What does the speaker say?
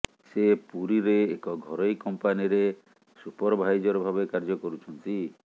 ସେ ପୁରୀରେ ଏକ ଘରୋଇ କମ୍ପାନୀରେ ସୁପରଭାଇଜର ଭାବେ କାର୍ଯ୍ୟ କରୁଛନ୍ତି